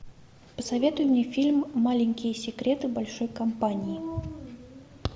посоветуй мне фильм маленькие секреты большой компании